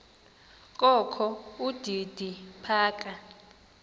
kokho udidi phaka